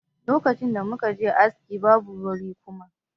Lokacin da muka je wajen aski, babu wuri kuma.